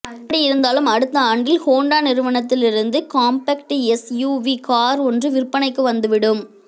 எப்படியிருந்தாலும் அடுத்த ஆண்டில் ஹோண்டா நிறுவனத்தில் இருந்து காம்பெக்ட் எஸ்யூவி கார் ஒன்று விற்பனைக்கு வந்துவிடும்